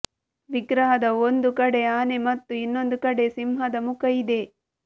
ವಿಗ್ರಹದ ಒಂದು ಕಡೆ ಆನೆ ಮತ್ತು ಇನ್ನೊಂದು ಕಡೆ ಸಿಂಹದ ಮುಖ ಇದೆ